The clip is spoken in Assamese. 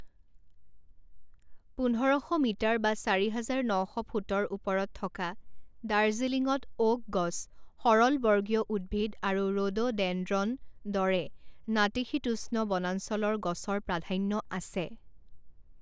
পোন্ধৰ শ মিটাৰ বা চাৰি হাজাৰ ন শ ফুটৰ ওপৰত থকা দাৰ্জিলিঙত অ'ক গছ সৰলবৰ্গীয় উদ্ভিদ আৰু ৰড'ডেনড্ৰন দৰে নাতিশীতোষ্ণ বনাঞ্চলৰ গছৰ প্ৰাধান্য আছে।